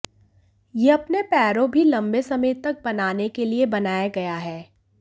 यह अपने पैरों भी लंबे समय तक बनाने के लिए बनाया गया है